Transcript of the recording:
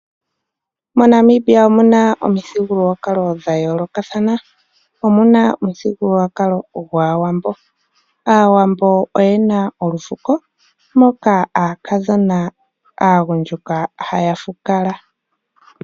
MoNamibia omuna omithigulwakalo dhayoolokathana, omuna omuthigulukwalo gwAawambo. Aawambo oyena olufuko moka aakadhona aagundjuka haya fukala.